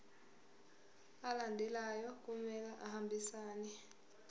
alandelayo kumele ahambisane